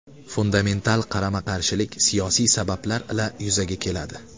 Fundamental qarama-qarshilik siyosiy sabablar ila yuzaga keladi.